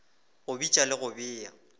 go bitša le go bea